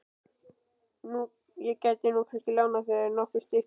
Ég gæti nú kannski lánað þér nokkur stykki.